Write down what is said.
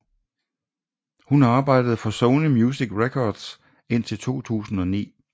Hun arbejdede for Sony Music Records indtil 2009